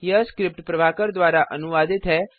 यह स्क्रिप्ट प्रभाकर द्वारा अनुवादित है